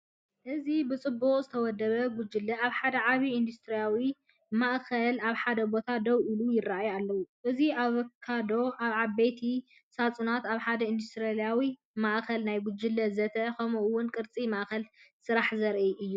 እዚ ብጽቡቕ ዝተወደበ ጉጅለ ኣብ ሓደ ዓቢ ኢንዱስትርያዊ ማእከል ኣብ ሓደ ቦታ ደው ኢሉ ይርኢዩ ኣለው። እዚ ኣቮካዶ ኣብ ዓበይቲ ሳጹናት ኣብ ሓደ ኢንዱስትርያዊ ማእከል፡ ናይ ጉጅለ ዘተ፡ ከምኡ’ውን ቅርጺ ማእከል ስራሕ ዘርኢ እዩ።